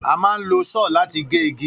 A máa ń lo só̩ò̩ láti gé igi